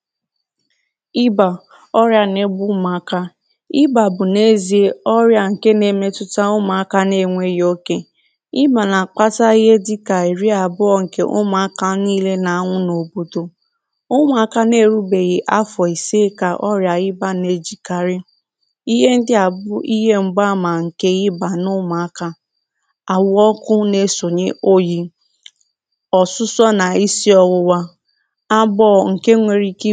Ọrià ịbà ọrịà ịbà bù ọrịà ǹje n’efeēfị̄ enè-èbute site nà-ọ̀tùtà anwụntà ọṛịà anà àwụkarị na-mbā ògbòmoọku m̀gba àmà ǹkè ịbà bù ịhe ndịaā àwụ ọkū oyị̄ ịshị ọwuwa àkpịrị̄ mgbụ ịke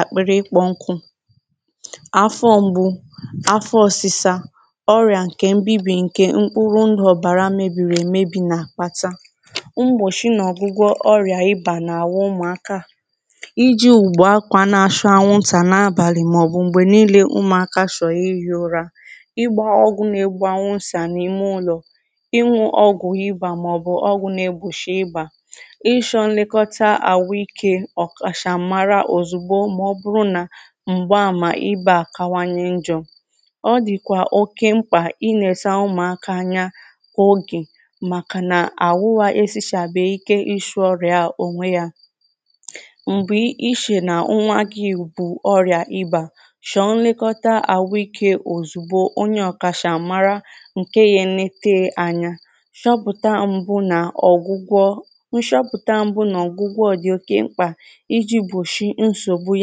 ọgwụgwụ àwụ ufu ịhe ndịa bū ụzọ̀ ịsị̄ gbòshie anwụntà zère mmiri adọ̄bara adọba n’ime ụlọ̀ jìri ùgwù anwụ ntà wēē kpùshie onwe gu m̀gbù ịshọ̀rọ̀ ilāhū ụla gbāā ọgwù anwụntà n’ime ụlọ̀ ịtē ụde na-egbòshịe anwụntà m̀gbè ịnà arị̀a ọrịà ịbà ọdìkwà oke mkpà ịṅụ̄ ọgwū m̀gbòshị ịbà ṅụ̄ọ mmiri zuru òkè rīe ezịbo nrī tāa mkpuru osisi mà zùru ikē oke ụ̀fụma shètakwa àwụ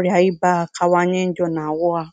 ikē bu àkụ̀ nà ụ̀ba